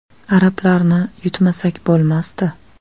Arablarni yutmasak bo‘lmasdi.